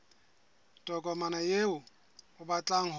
tokomane eo o batlang ho